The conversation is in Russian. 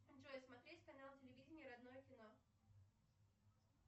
джой смотреть канал телевидения родное кино